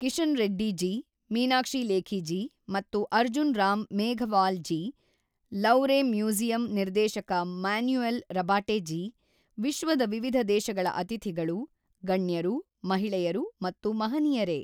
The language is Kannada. ಕಿಶನ್ ರೆಡ್ಡಿ ಜಿ, ಮೀನಾಕ್ಷಿ ಲೇಖಿ ಜಿ ಮತ್ತು ಅರ್ಜುನ್ ರಾಮ್ ಮೇಘವಾಲ್ ಜಿ, ಲೌವ್ರೆ ಮ್ಯೂಸಿಯಂ ನಿರ್ದೇಶಕ ಮ್ಯಾನುಯೆಲ್ ರಬಾಟೆ ಜಿ, ವಿಶ್ವದ ವಿವಿಧ ದೇಶಗಳ ಅತಿಥಿಗಳು, ಗಣ್ಯರು, ಮಹಿಳೆಯರು ಮತ್ತು ಮಹನಿಯರೆ!